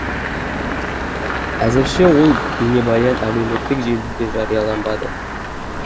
әзірше ол бейнебаян әлеуметтік желіде жарияланбады